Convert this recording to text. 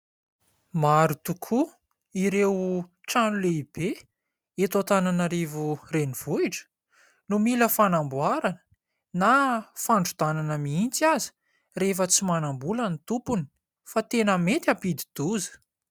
Maro tokoa ireo trano lehibe eto Antananarivo renivohitra no mila fanamboarana na fandrodanana mihitsy aza rehefa tsy manambola ny tompony fa tena mety hampididi-doza.